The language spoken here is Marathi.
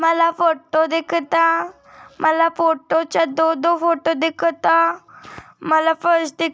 मला फोटो दिखत मला फोटो च दो दो फोटो दिखत मला फर्श दि--